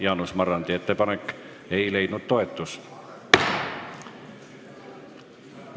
Jaanus Marrandi ettepanek ei leidnud toetust.